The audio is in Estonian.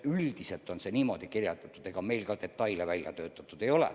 Üldiselt on see niimoodi mõeldud, ega meil detaile välja töötatud ei ole.